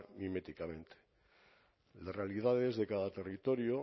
miméticamente las realidades de cada territorio